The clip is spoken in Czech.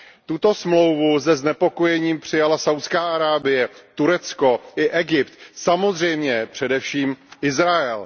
Tuto smlouvu se znepokojením přijala Saudská Arábie, Turecko i Egypt. Samozřejmě především Izrael.